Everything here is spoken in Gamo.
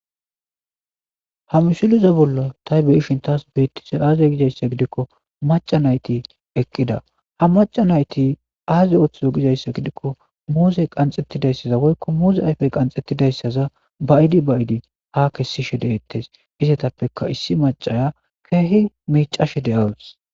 ha mishuliza bolla taybeyishin taas biittise aaze gizayssa gidikko maca nayti eqqida ha maca nayti aaze ooththizo gizayssa gidikko muuzey qanxettidayssaza woykko muuze ayfey qanxettidayssaza bayidi bayidi ha kessishe deeettes izatappeka issi macaya keehi miicashe de7awus